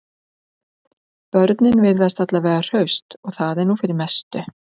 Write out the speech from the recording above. Börnin virðast alla vega hraust og það er nú fyrir mestu